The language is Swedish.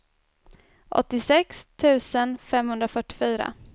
åttiosex tusen femhundrafyrtiofyra